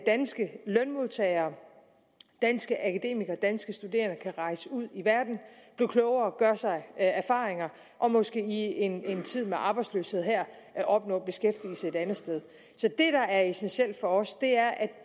danske lønmodtagere danske akademikere danske studerende kan rejse ud i verden blive klogere gøre sig erfaringer og måske i en tid med arbejdsløshed her opnå beskæftigelse et andet sted så det der er essentielt for os er at